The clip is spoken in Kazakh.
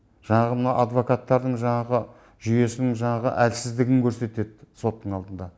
жанағы мына адвокаттардың жаңағы жүйесінің жаңағы әлсіздігін көрсетеді соттың алдында